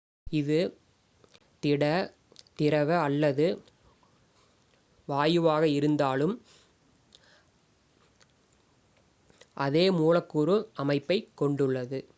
இது திட திரவ அல்லது வாயுவாக இருந்தாலும் அதே மூலக்கூறு அமைப்பைக் கொண்டுள்ளது